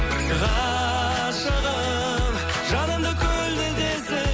ғашығым жанымды көлдетесің